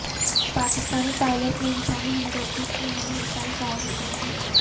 Pakistani pilot نے انسانی ہمدردی کی نئی مثال قائم کر دی